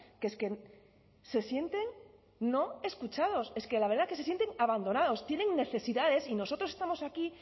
que es que se sienten no escuchados es que la verdad que se sienten abandonados tienen necesidades y nosotros estamos aquí